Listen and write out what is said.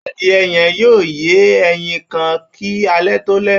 Adìẹ yẹ́n yóò yé ẹyin kan kí alẹ́ tó lẹ́